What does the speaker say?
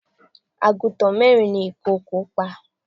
Àgùntàn mẹ́rin ni ìkòkò pa.